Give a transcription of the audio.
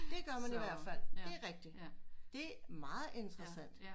Det gør man i hvert fald det er rigtigt det er meget interessant